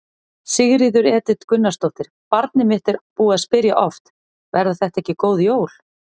Sigríður Edith Gunnarsdóttir: Barnið mitt er búið að spyrja oft: Verða þetta ekki góð jól?